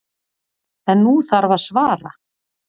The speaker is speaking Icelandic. En nú þarf að svara.